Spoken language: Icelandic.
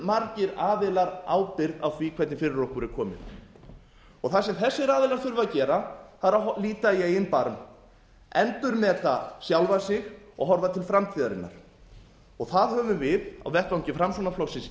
fjölmargir aðilar ábyrgð á því hvernig fyrir okkur er komið það sem þessir aðilar þurfa að gera er að líta í eigin barm endurmeta sjálfa sig og horfa til framtíðarinnar það höfum við á vettvangi framsóknarflokksins